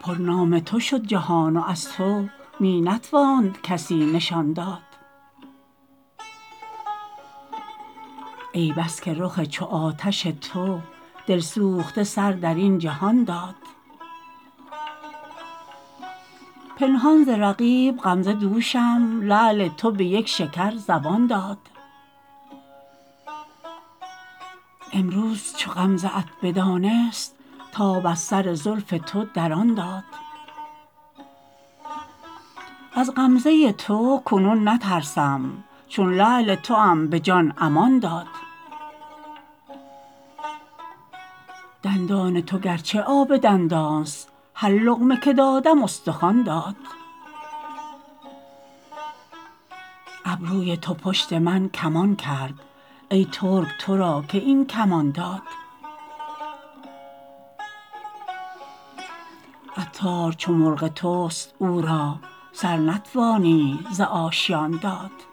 پر نام تو شد جهان و از تو می نتواند کسی نشان داد ای بس که رخ چو آتش تو دل سوخته سر درین جهان داد پنهان ز رقیب غمزه دوشم لعل تو به یک شکر زبان داد امروز چو غمزه ات بدانست تاب از سر زلف تو در آن داد از غمزه تو کنون نترسم چون لعل توام به جان امان داد دندان تو گرچه آبدان است هر لقمه که دادم استخوان داد ابروی تو پشت من کمان کرد ای ترک تو را که این کمان داد عطار چو مرغ توست او را سر نتوانی ز آشیان داد